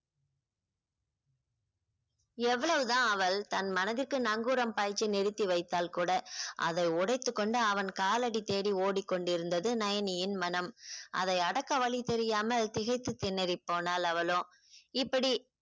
எவ்வளவுதான் அவள் தன் மனதிற்கு நங்கூரம் பாய்ச்சி நிறுத்தி வைத்தாள் கூட அதை உடைத்துக் கொண்டு அவன் காலடி தேடி ஓடிக்கொண்டிருந்தது நயனியின் மனம் அதை அடக்க வழி தெரியாமல் திகைத்துப் திணறிப் போனாள் அவளோ இப்படி